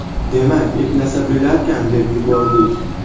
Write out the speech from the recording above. Demak, eplasa bo‘larkan, deb yubordik.